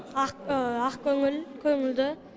ақ ақкөңіл көңілді не